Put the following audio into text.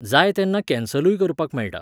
जाय तेन्ना कॅन्सलूय करपाक मेळटा.